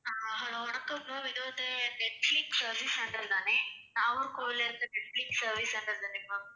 ஆஹ் hello வணக்கம் ma'am இது வந்து நெட்பிலிஸ் service centre தானே? நாகர்கோவில்ல இருந்து நெட்பிலிஸ் service centre தானே ma'am